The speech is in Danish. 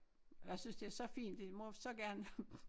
Jeg synes det er så fint I må så gerne